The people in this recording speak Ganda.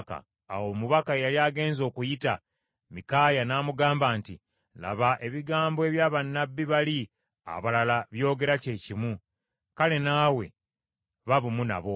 Awo omubaka eyali agenze okuyita Mikaaya, n’amugamba nti, “Laba, ebigambo ebya bannabbi bali abalala byogera kyekimu, kale naawe ba bumu nabo.”